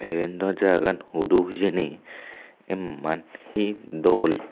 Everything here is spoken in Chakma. iben dw jagagan hudu hijeni emman hi dol.